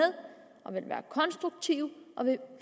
og vil være konstruktive og